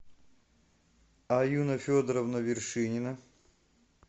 аюна федоровна вершинина